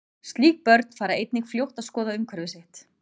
Slík börn fara einnig fljótt að skoða umhverfi sitt.